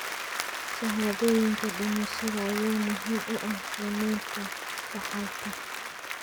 Shahaadooyinka dhimashada ayaa muhiim u ah qiimeynta dhaxalka.